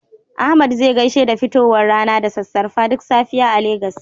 Ahmad zai gaishe da fitowar rana da sassarfa duk safiya a Legas.